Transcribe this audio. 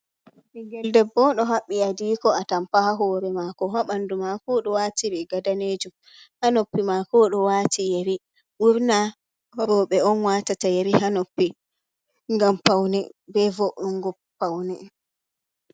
"Ɓingel debbo" do haɓɓi hadiko atampa ha hore mako ha ɓandu mako oɗo wati riga daanejum ha noppi mako oɗo wati yeri ɓurna roɓe on watata yeri ha noppi ngam paune ɓe vo’ungo paune.